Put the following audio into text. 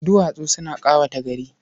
Duwatsu suna ƙawata gari.